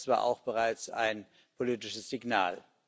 Das war auch bereits ein politisches Signal.